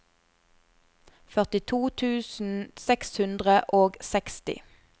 førtito tusen seks hundre og seksti